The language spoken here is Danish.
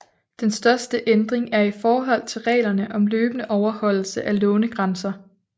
Den største ændring er i forhold til reglerne om løbende overholdelse af lånegrænser